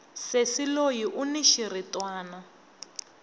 sesi loyi uni xiritwani